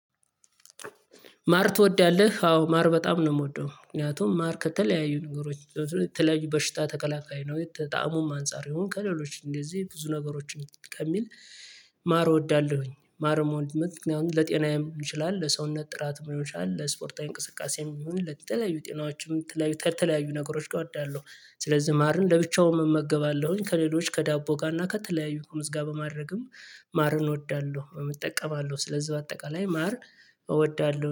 ማር ትወዳለህ አዎ ማር በጣም ነው የምወደው ምክንያቱም ማር ከተለያዩ ነገሮች የተለየዩ በሽታ ተከላካይ ነው ከጣዕሙም አንፃር ይሁን ከሌሎችም እንደዚህ ብዙ ነገሮችን ከሚል ማር እወዳለሁኝ። ማር ምወድ ምክንያቱም ለጤናዬም እንችላለን ለሰውነት ጥራትም ልሆን ይችላል ለስፖርታዊ እንቅስቃሴም ይሁን ለተለያዩ ጤናዎችም ተለያዩ ነገሮች እወዳለሁ። ስለዚህ ማርም ለብቻውም እመገባለሁኝ ከሌሎች ከዳቦ ጋር እና ከተለያዩ ሙዝ ጋር በማድረግም ማርን እወዳለሁ እጠቀማለሁ። ስለዚህ በአጠቃላይ ማር እወዳለሁ